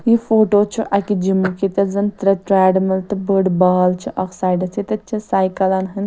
یہِ فوٹوچھ اَکہِ جِمُک ییٚتٮ۪تھ زن ترٛےٚ ٹریڈمِلہٕ .تہٕ بٔڑ بال چھ اکھ سایڈس ییٚتٮ۪تھ چھ ساییکلن ہٕنٛز